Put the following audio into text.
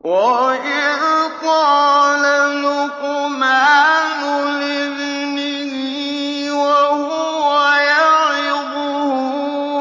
وَإِذْ قَالَ لُقْمَانُ لِابْنِهِ وَهُوَ يَعِظُهُ